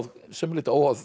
sumu leyti óháð